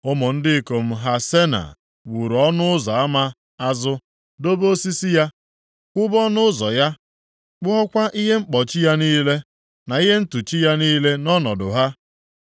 Ụmụ ndị ikom Hasena wuru Ọnụ Ụzọ ama Azụ, dobe osisi ya, kwụba ọnụ ụzọ ya, kpụọkwa ihe mkpọchi ya niile, na ihe ntụchi ya niile nʼọnọdụ ha.